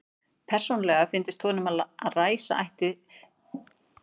Persónulega fyndist honum að læsa ætti slíkt fólk inni og týna lyklinum.